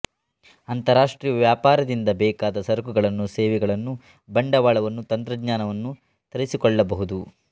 ಅಂತರಾಷ್ಟ್ರೀಯ ವ್ಯಾಪಾರದಿಂದ ಬೇಕಾದ ಸರಕುಗಳನ್ನು ಸೇವೆಗಳನ್ನು ಬಂಡವಾಳವನ್ನು ತಂತ್ರಜ್ನಾನವನ್ನು ತರಿಸಿಕೊಳ್ಳಬಹುದು